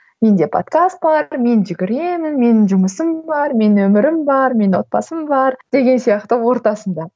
менде подкаст бар мен жүгіремін менің жұмысым бар менің өмірім бар менің отбасым бар деген сияқты ортасында